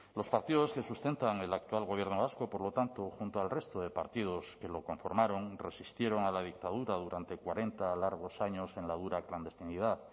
los partidos que sustentan el actual gobierno vasco por lo tanto junto al resto de partidos que lo conformaron resistieron a la dictadura durante cuarenta largos años en la dura clandestinidad